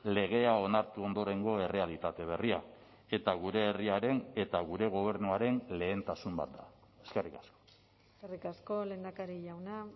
legea onartu ondorengo errealitate berria eta gure herriaren eta gure gobernuaren lehentasun bat da eskerrik asko eskerrik asko lehendakari jauna